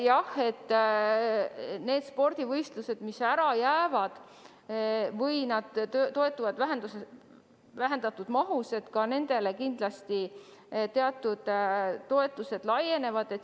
Jah, ka nendele spordivõistlustele, mis ära jäävad või mis toimuvad vähendatud mahus, kindlasti teatud toetused laienevad.